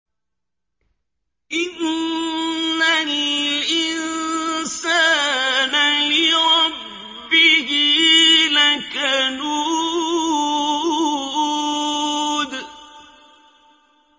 إِنَّ الْإِنسَانَ لِرَبِّهِ لَكَنُودٌ